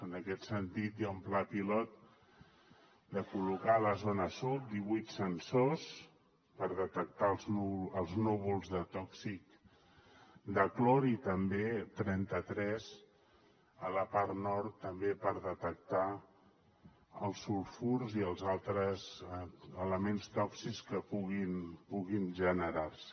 en aquest sentit hi ha un pla pilot de col·locar a la zona sud divuit sensors per detectar els núvols tòxics de clor i també trenta tres a la part nord també per detectar els sulfurs i els altres elements tòxics que puguin generar se